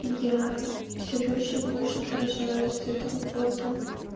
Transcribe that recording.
и я всё больше и больше поражаюсь с этого бота